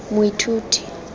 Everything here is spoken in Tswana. moithuti